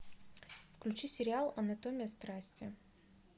включи сериал анатомия страсти